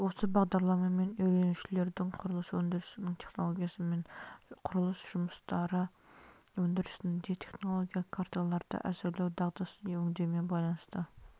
осы бағдарламамен үйренушілердің құрылыс өндірісінің технологиясымен және құрылыс жұмыстары өндірісінде технологиялық карталарды әзірлеу дағдысын өңдеумен байланысты